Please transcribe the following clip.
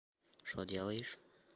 что делаешь